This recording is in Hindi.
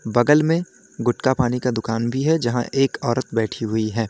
बगल में गुटका पानी का दुकान भी है जहां एक औरत बैठी हुई है।